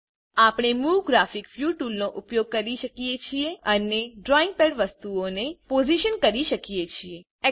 આપણે move graphics view ટૂલનો ઉપયોગ કરી શકીએ છે અને ડ્રોઈંગપેડ વસ્તુઓને પોઝિશન કરી શકીએ છીએ